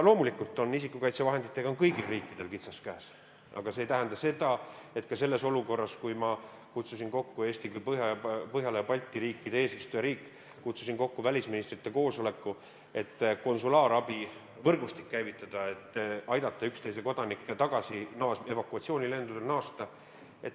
Loomulikult on isikukaitsevahenditega kõigil riikidel kitsas käes, aga selles olukorras – Eesti kui Põhjala ja Balti riikide eesistujariik – kutsusin kokku välisministrite koosoleku, et käivitada konsulaarabi võrgustik ja aidata üksteise kodanikel evakuatsioonilendudega naasta.